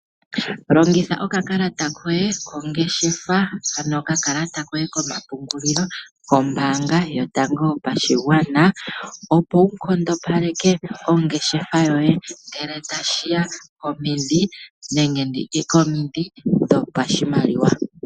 Longitha okakalata koye kongeshefa ano okakalata koye komapungulilo kombaanga yotango yopashigwana opo wunkondopaleke ongeshefa yoye ngele tashiya komidhi nenditye komidhi dhopashimaliwa.